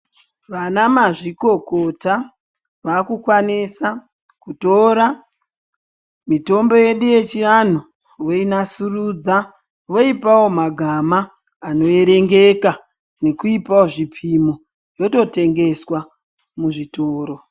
Vana mazvikokota vakukwanisa kutora mitombo yedu yechivanhu voinasurudza voipawo magama anoerengeka nekuipawo zvipimo yototengeswa muzvitoro.